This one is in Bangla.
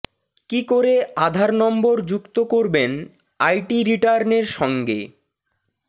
কী করে আধার নম্বর যুক্ত করবেন আইটি রিটার্নের সঙ্গে